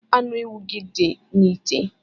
Anu ewu gi di n'ite